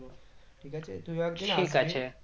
ঠিক আছে তুইও একদিন